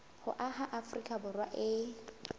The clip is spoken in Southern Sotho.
ho aha afrika borwa e